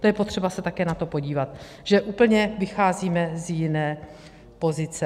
To je potřeba se také na to podívat, že úplně vycházíme z jiné pozice.